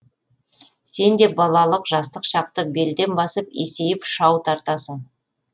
сен де балалық жастық шақты белден басып есейіп шау тартасың